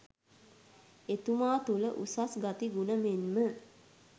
එතුමා තුළ උසස් ගති ගුණ මෙන් ම